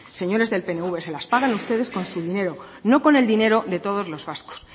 señores del pnv se las pagan ustedes con su dinero no con el dinero de todos los vascos